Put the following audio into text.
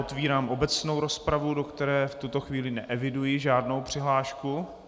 Otevírám obecnou rozpravu, do které v tuto chvíli neeviduji žádnou přihlášku.